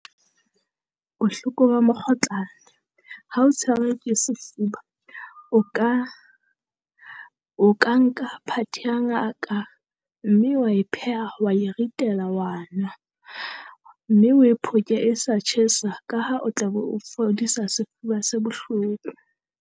Bohloko ba mokgotlana ha o tshware ke sefuba. O ka o ka nka part ya ngaka mme wa e pheha wa e ritela wa nwa, mme oe phoke e sa tjhesa ka ha o tla be o fodisa sefuba se bohloko.